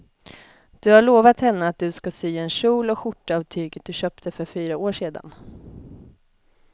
Du har lovat henne att du ska sy en kjol och skjorta av tyget du köpte för fyra år sedan.